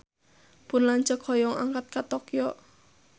Pun lanceuk hoyong angkat ka Tokyo